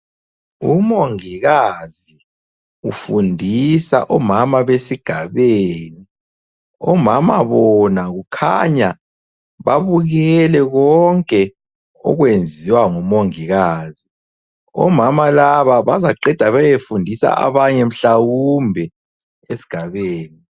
Umongikazi ufundisa omama besigabeni, omama bona kukhanya babukele konke okwenziwa ngumongikazi. Omama laba bazaqeda bayefundisa abanye mhlawumbe esigabeni.